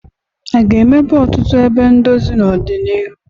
A ga-emepe ọtụtụ ebe ndozi n'ọdịnihu?